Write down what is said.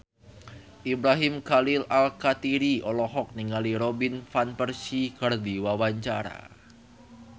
Ibrahim Khalil Alkatiri olohok ningali Robin Van Persie keur diwawancara